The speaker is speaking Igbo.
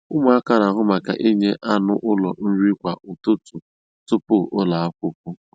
Ụmụaka n'ahụ maka inye anụ ụlọ nri kwa ụtụtụ tupu ụlọ akwụkwọ.